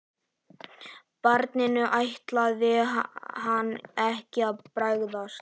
Barninu ætlaði hann ekki að bregðast.